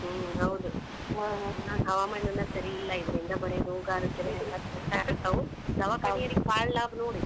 ಹ್ಮ್‌ ಹೌದ್. ಹವಾಮಾನನ ಸರಿ ಇಲ್ಲಾ ಇದರಿಂದ್ ಬರೇ ರೋಗ್ ರುಜಿನ ಎಲ್ಲ ದವಾಖಾನಿಯರಿಗೆ ಬಾಳ್ ಲಾಭ ನೋಡಿಗ್?